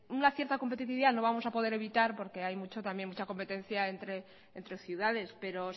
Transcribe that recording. una cierta competitividad no vamos a poder evitar porque hay mucho también mucha competencia entre ciudades pero